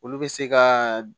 Olu bɛ se ka